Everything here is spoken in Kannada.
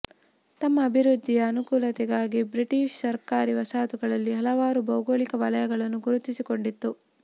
ತಮ್ಮ ಅಭಿವೃದ್ಧಿಯ ಅನುಕೂಲತೆಗಾಗಿ ಬ್ರಿಟಿಶ್ ಸರ್ಕಾರ ವಸಾಹತುಗಳಲ್ಲಿ ಹಲವಾರು ಭೌಗೋಳಿಕ ವಲಯಗಳನ್ನು ಗುರುತಿಸಿ ಕೊಂಡಿತ್ತು